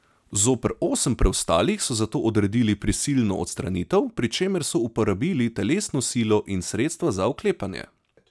Zoper osem preostalih so zato odredili prisilno odstranitev, pri čemer so uporabili telesno silo in sredstva za vklepanje.